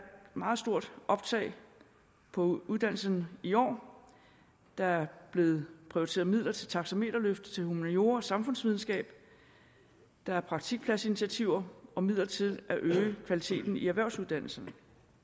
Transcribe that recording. meget stort optag på uddannelserne i år der er blevet prioriteret midler til taxameterløft til humaniora og samfundsvidenskab der er praktikpladsinitiativer og midler til at øge kvaliteten i erhvervsuddannelserne